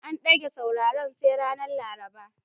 An ɗage sauraren sai ranar Laraba.